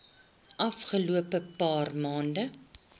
afgelope paar maande